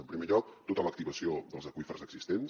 en primer lloc tota l’activació dels aqüífers existents